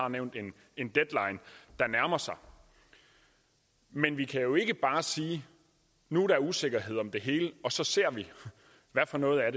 har nævnt en deadline der nærmer sig men vi kan jo ikke bare sige at nu er der usikkerhed om hele og så ser vi hvad for noget af